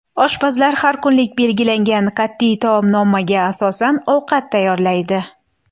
Oshpazlar har kunlik belgilangan qat’iy taomnomaga asosan ovqat tayyorlaydi.